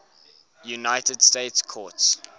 united states courts